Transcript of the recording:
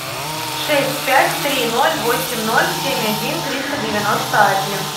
шесть пять три ноль восемь ноль семь один триста девяносто один